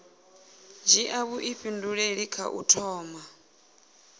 dzhia vhuifhinduleli kha u thoma